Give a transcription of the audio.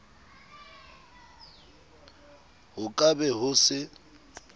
ho ka be ho se